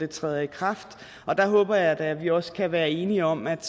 træder i kraft og der håber jeg da at vi også kan være enige om at